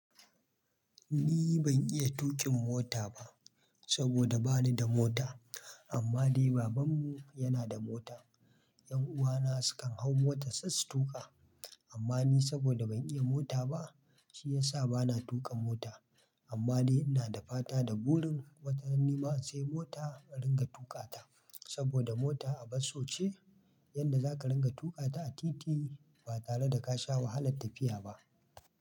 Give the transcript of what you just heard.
Ni ban iya tuƙin mota ba saboda bani da mota. Amma dai babanmu yana da mota. Ƴan'uwana sukan hau motarsa su tuƙa. Amma ni saboda ban iya mota ba, shi yasa bana tuƙa mota. Amma dai ina da fata da burin wata rana nima in siya mota in riƙa tuƙata saboda mota abun so ce, yanda za ka ɗinga tuƙa ta a titi ba tare da ka sha wahalar tafiya ba.